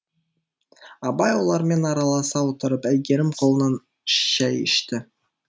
абай олармен араласа отырып әйгерім қолынан шай ішті